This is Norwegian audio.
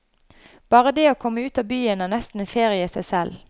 Bare det å komme ut av byen er nesten en ferie i seg selv.